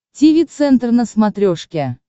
тиви центр на смотрешке